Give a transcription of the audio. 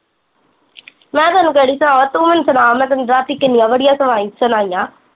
ਮੈਂ ਤੈਨੂੰ ਕਿਹੜੀ ਸੁਣਾਵਾਂ ਤੂੰ ਮੈਨੂੰ ਸੁਣਾ ਮੈਂ ਤੇਨੂੰ ਰਾਤੀ ਕਿੰਨੀਆ ਬੜੀਆ ਸੁਣਾਈਆਂ